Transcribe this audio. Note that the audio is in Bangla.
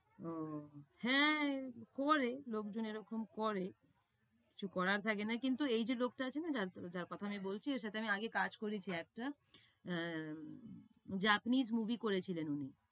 ও হ্যাঁ, করে লোকজন এরকম করে। কিছু করার থাকে না। কিন্তু এই যে লোকটা আছে না যার কথা আমি বলছি, এর সাথে আগে আমি কাজ করেছি একটা। অ্যা Japanese movie করেছিলেন উনি।